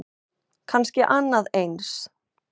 Kannski annað eins.